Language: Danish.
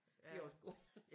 De er også gode